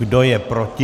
Kdo je proti?